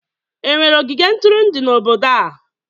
Enwere ogige ntụrụndụ n'obodo a?